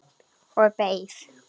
Og beið.